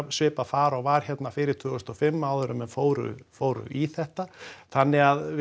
svipað far og var hérna fyrir tvö þúsund og fimm áður en menn fóru fóru í þetta þannig að